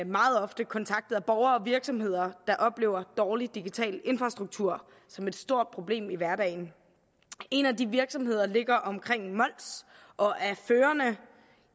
meget ofte kontaktet af borgere og virksomheder der oplever dårlig digital infrastruktur som et stort problem i hverdagen en af de virksomheder ligger omkring ved mols og er førende